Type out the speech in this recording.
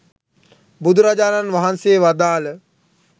බුදුරජාණන් වහන්සේ වදාළ